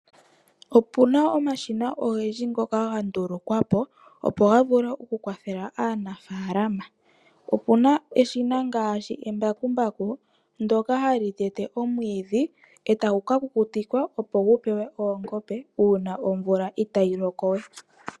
Opu na omashina ogendji ngoka ga ndulukwa po, opo ga vule okukwathela aanaafalama. Opu na eshina ngaashi embakumbaku ndyoka hali tete omwiidhi e tagu ka kukutikwa, opo gu pewe oongombe uuna omvula itayi loko we.